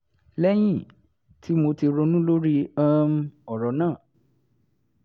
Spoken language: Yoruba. lẹ́yìn tí mo ti ronú lórí um ọ̀rọ̀ náà